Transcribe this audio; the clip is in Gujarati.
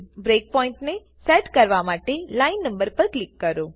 બ્રેક પોઈન્ટની સેટ કરવા માટે લાઈન નંબર પર કિલક કરો